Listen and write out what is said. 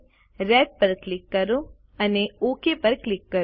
red પર click કરો અને ઓક પર ક્લિક કરો